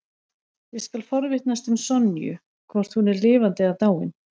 Ég skal forvitnast um Sonju, hvort hún er lifandi eða dáin.